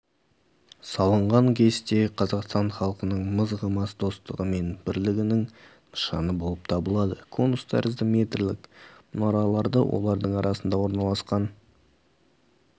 салынғанкесене қазақстан халқының мызғымас достығы мен бірлігініңнышаны болып табылады конус тәрізді метрлік мұнараларды олардың арасында орналасқан